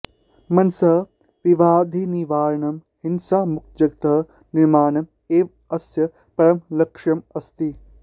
मनसः विबाधानिवारणं हिंसामुक्तजगतः निर्माणम् एव अस्य परमं लक्ष्यम् अस्ति